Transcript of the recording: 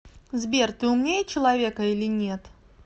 сбер ты умнее человека или нет